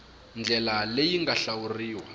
ndlela leyi yi nga hlawuriwa